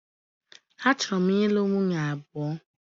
A chọrọ m ị lụ nwunye abụọ.